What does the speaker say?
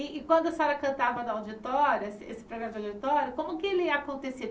E e quando a senhora cantava na auditória, esse esse programa de auditório, como que ele acontecia?